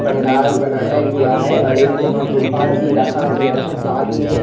पंडाल बनाया गया है और एक यहां सोफा भी रखा गया है साथ में--